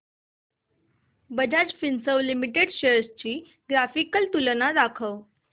Bajaj Finserv limited shares ची ग्राफिकल तुलना दाखव